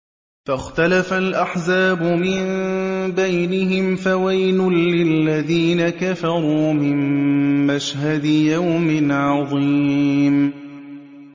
فَاخْتَلَفَ الْأَحْزَابُ مِن بَيْنِهِمْ ۖ فَوَيْلٌ لِّلَّذِينَ كَفَرُوا مِن مَّشْهَدِ يَوْمٍ عَظِيمٍ